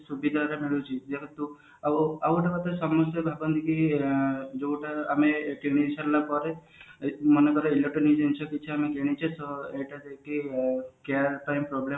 ସୁବିଧା ଟା ମିଳୁଛି ଆଉ ଗୋଟେ କଥା ସମସ୍ତେ ଭାବନ୍ତି କି ଯୋଉଟା ଆମେ ଏଥୋ କିଣି ସାରିଲା ପରେ ମାନେ ଧର electronics ଜିନିଷ କିଛି ଆମେ କିଣିଛେ ତ ଏଟା ଯଦି ଆଁ care ପାଇଁ problem